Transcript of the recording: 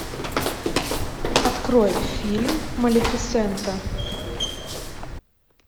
открой фильм малефисента